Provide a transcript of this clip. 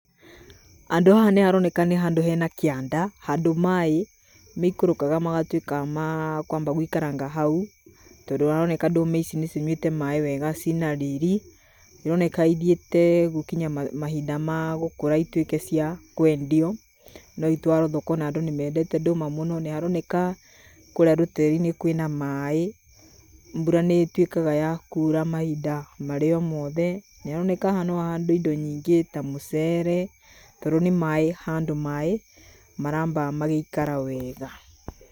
Handũ haha nĩ haroneka nĩ handũ hena kĩanda, handũ maaĩ maikũrũkaga magatuĩka ma kwamba gũikaranga hau. Tondũ haroneka ndũma ici nĩcinyuĩte maaĩ wega ciĩna riri. Nĩ ironeka ithiĩte gũkinya mahinda ma gũkũra ituĩke cia kwendio. No itwarwo thoko, na andũ ni meendete ndũma mũno. Nĩ harooneka kũũria rũteere-inĩ kwĩ na maaĩ, mbura nĩtuĩkaga ya kuura mahinda marĩ o mothe. Nĩ haroneka haha no hahandwo indo nyingĩ ta muceere, tondũ ni maaĩ, handũ maaĩ maraamba magaikara weega.